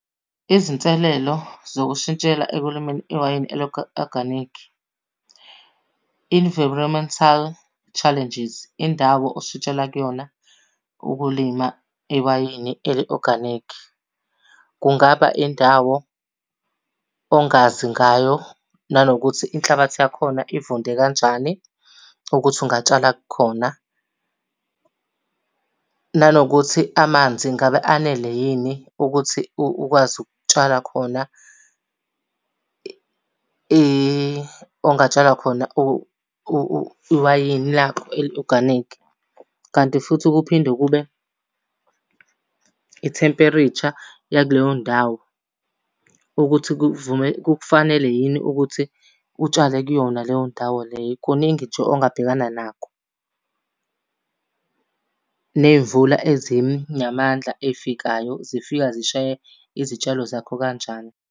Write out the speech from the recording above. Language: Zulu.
Izinselelo zokushintshela ekulimeni iwayini eli-oganikhi, environmental challenges, indawo oshintshela kuyona ukulima iwayini eli-oganikhi, kungaba indawo ongazi ngayo. Nanokuthi inhlabathi yakhona ivunde kanjani ukuthi ungatshala khona. Nanokuthi amanzi ngabe anele yini ukuthi ukwazi ukutshala khona, ongatshala khona iwayini lakho eli-oganikhi. Kanti futhi kuphinde kube i-temperature yakuleyo ndawo, ukuthi , kukufanele yini ukuthi utshale kuyona leyo ndawo leyo. Kuningi nje ongabhekana nakho. Ney'mvula ezinamandla ey'fikayo zifika zishaye izitshalo zakho kanjani.